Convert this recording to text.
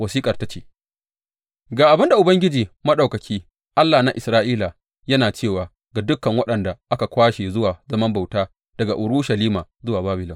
Wasiƙar ta ce, Ga abin da Ubangiji Maɗaukaki, Allah na Isra’ila, yana cewa ga dukan waɗanda aka kwashe zuwa zaman bauta daga Urushalima zuwa Babilon.